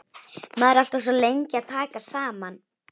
Maður er alltaf svo lengi að taka saman.